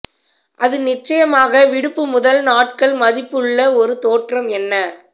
அது நிச்சயமாக விடுப்பு முதல் நாட்கள் மதிப்புள்ள ஒரு தோற்றம் என்ன